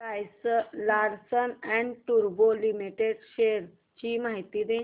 Larsen and टुर्बो limited shares ची माहिती दे